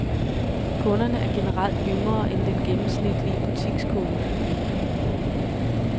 Kunderne er generelt yngre end den gennemsnitlige butikskunde.